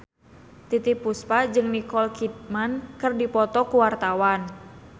Titiek Puspa jeung Nicole Kidman keur dipoto ku wartawan